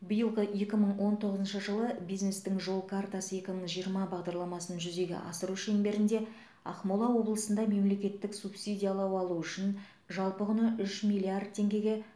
биылғы екі мың он тоғызыншы жылы бизнестің жол картасы екі мың жиырма бағдарламасын жүзеге асыру шеңберінде ақмола облысында мемлекеттік субсидиялау алу үшін жалпы құны үш миллиард теңгеге